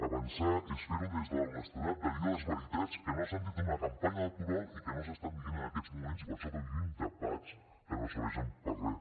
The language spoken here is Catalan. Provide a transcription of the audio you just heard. avançar és fer ho des de l’honestedat de dir les veritats que no s’han dit en una campanya electoral i que no s’estan dient en aquests moments i per això vivim debats que no serveixen per a res